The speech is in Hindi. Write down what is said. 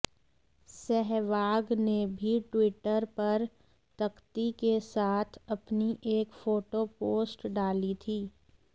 सहवाग ने भी ट्विटर पर तख्ती के साथ अपनी एक फोटो पोस्ट डाली थी